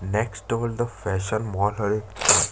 next world fashion mall हरे --